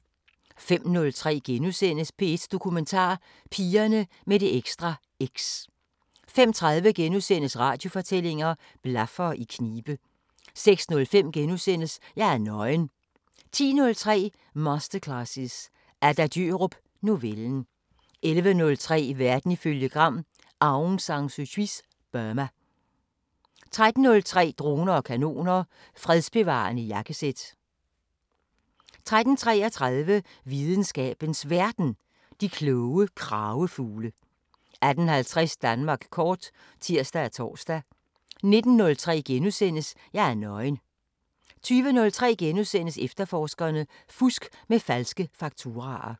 05:03: P1 Dokumentar: Pigerne med det ekstra X * 05:30: Radiofortællinger: Blaffere i knibe * 06:05: Jeg er nøgen * 10:03: Masterclasses – Adda Djørup: Novellen 11:03: Verden ifølge Gram: Aung San Su Kyis Burma 13:03: Droner og kanoner: Fredsbevarende jakkesæt 13:33: Videnskabens Verden: De kloge kragefugle 18:50: Danmark kort (tir og tor) 19:03: Jeg er nøgen * 20:03: Efterforskerne: Fusk med falske fakturaer *